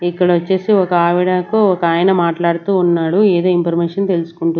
ఇక్కడ వచ్చేసి ఒక ఆవిడకు ఒక ఆయన మాట్లాడుతూ ఉన్నాడు ఏదో ఇన్ఫర్మేషన్ తెలుసుకుంటూ--